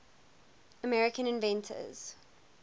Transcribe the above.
american inventors